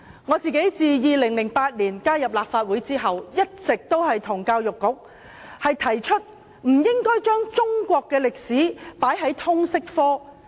我自2008年加入立法會後，一直向教育局提出，中史不應納入通識科。